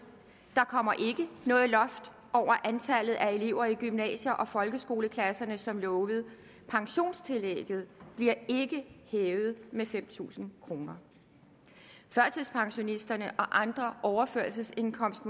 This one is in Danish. der kommer ikke noget loft over antallet af elever i gymnasie og folkeskoleklasserne som lovet pensionstillægget bliver ikke hævet med fem tusind kroner førtidspensionisterne og andre modtagere af overførselsindkomst